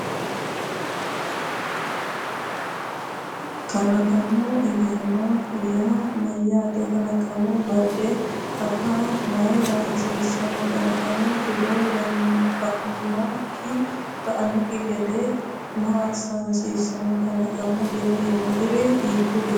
Kalaqama egenna yaa mayyaate? Kalaqama bade afa mayra hasiissanno? Kalaqamu jiro ba’annokki gede maa assa hasiissanno? Kalaqamu jiro yinanniri hiikkuriiti?